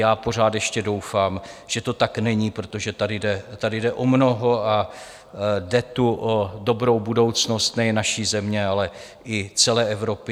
Já pořád ještě doufám, že to tak není, protože tady jde o mnoho a jde tu o dobrou budoucnost nejen naší země, ale i celé Evropy.